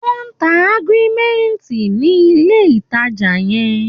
Wọ́n ń ta augmentin ní ilé-ìtàjà yẹn.